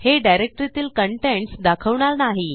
हे डिरेक्टरीतील कंटेंट्स दाखवणार नाही